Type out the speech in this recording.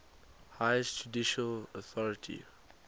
highest judicial authority